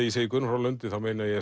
ég segi Guðrún frá Lundi þá meina ég